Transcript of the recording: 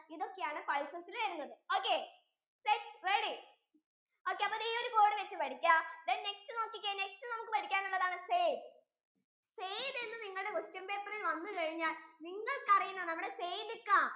ഉഴുന്ന് ഇതൊക്കെയാണ് spices ഇൽ വരുന്നത്. ok get ready ok അപ്പോ ഈ ഒരു ബോർഡ് വച്ച് പഠിക്കാം then next നോക്കിക്കേ next നമുക്ക് പഠിക്കാനുള്ളതാണ് sayd sayd എന്ന് നിങ്ങളുടെ question paper ഇൽ വന്നാൽ നിങ്ങൾക്കറിയുന്ന നിങ്ങളുടെ സെയ്‌ദിക്കാ